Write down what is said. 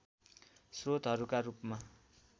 स्रोतहरूका रूपमा